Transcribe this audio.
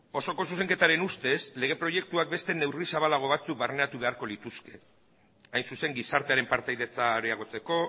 osoko zuzenketaren ustez lege proiektuak beste neurri zabalago batzuk barneratu beharko lituzke hain zuzen gizartearen partaidetza areagotzeko